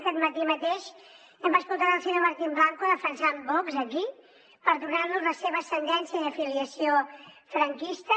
aquest matí mateix hem escoltat el senyor martín blanco defensant vox aquí perdonant los la seva ascendència i afiliació franquistes